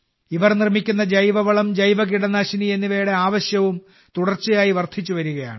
ഇവർ നിർമ്മിക്കുന്ന ജൈവവളം ജൈവകീടനാശിനി എന്നിവയുടെ ആവശ്യവും തുടർച്ചയായി വർധിച്ചുവരികയാണ്